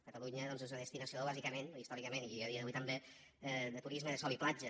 catalunya doncs és una destinació bàsicament històricament i a dia d’avui també de turisme de sol i platja